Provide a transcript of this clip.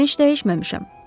Mən heç dəyişməmişəm.